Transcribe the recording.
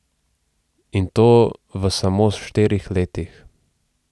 In to v samo štirih letih.